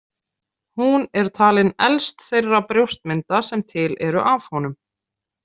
Hún er talin elst þeirra brjóstmynda sem til eru af honum.